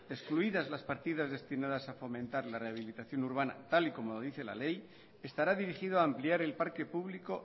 excluidas las partidas destinadas a fomentar la rehabilitación urbana tal y como dice la ley estará dirigido a ampliar el parque público